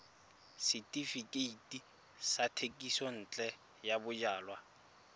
setefikeiti sa thekisontle ya bojalwa